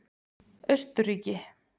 Austurríki